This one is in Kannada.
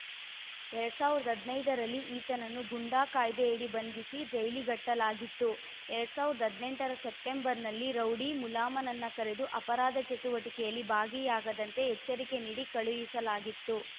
ಎರಡ್ ಸಾವಿರದ ಹದನೈದರಲ್ಲಿ ಈತನನ್ನು ಗೂಂಡಾ ಕಾಯ್ದೆಯಡಿ ಬಂಧಿಸಿ ಜೈಲಿಗಟ್ಟಲಾಗಿತ್ತು ಎರಡ್ ಸಾವಿರದ ಹದಿನೆಂಟರ ಸೆಪ್ಟೆಂಬರ್‌ನಲ್ಲಿ ರೌಡಿ ಮುಲಾಮನನ್ನು ಕರೆದು ಅಪರಾಧ ಚಟುವಟಿಕೆಯಲ್ಲಿ ಭಾಗಿಯಾಗದಂತೆ ಎಚ್ಚರಿಕೆ ನೀಡಿ ಕಳುಹಿಸಲಾಗಿತ್ತು